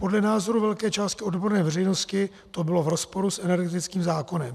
Podle názoru velké části odborné veřejnosti to bylo v rozporu s energetickým zákonem.